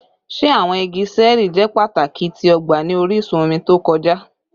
Ṣe awọn igi ṣẹẹri jẹ pataki ti ọgba ni orisun omi to kọja?